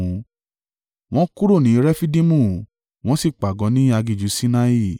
Wọ́n kúrò ní Refidimu wọ́n sì pàgọ́ ní aginjù Sinai.